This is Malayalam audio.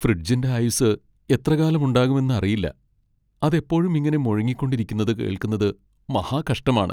ഫ്രിഡ്ജിന്റെ ആയുസ്സ് എത്രകാലം ഉണ്ടാകുമെന്ന് അറിയില്ല, അത് എപ്പോഴും ഇങ്ങനെ മുഴങ്ങിക്കൊണ്ടിരിക്കുന്നത് കേൾക്കുന്നത് മഹാകഷ്ടമാണ്.